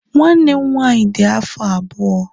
Nwanne m nwaanyị dị afọ abụọ